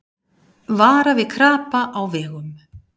Vara við krapa á vegum